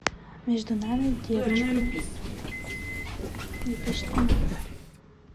между нами девочками две тысячи тринадцать